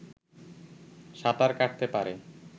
সাঁতার কাটতে পারে